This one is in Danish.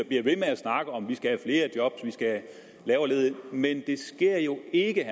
bliver ved med at snakke om at vi skal flere job vi skal have lavere ledighed men det sker jo ikke